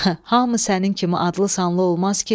Hamı sənin kimi adlı-sanlı olmaz ki.